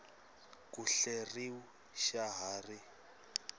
ku hleriw xa ha ri